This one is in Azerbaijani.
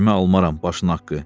Vecimə almaram başınaqqı.